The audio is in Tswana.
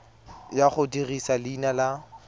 ya go dirisa leina la